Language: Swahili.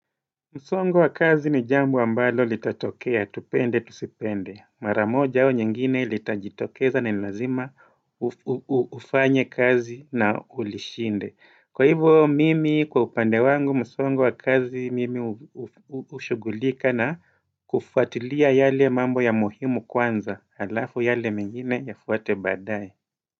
Msongo wa kazi ni jambo ambalo litatokea, tupende, tusipende. Maramoja au nyingine litajitokeza na ni lazima ufanye kazi na ulishinde. Kwa hivyo mimi kwa upande wangu, msongo wa kazi mimi hushugulika na kufuatilia yale mambo ya muhimu kwanza, alafu yale mengine yafuate baadaye.